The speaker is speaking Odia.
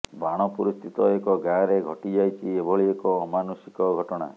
ବାଣପୁର ସ୍ଥିତ ଏକ ଗାଁରେ ଘଟିଯାଇଛି ଏଭଳି ଏକ ଅମାନୁଷିକ ଘଟଣା